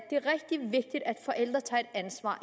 forældre tager et ansvar